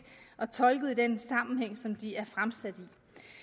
og tolket i den sammenhæng som de er fremsat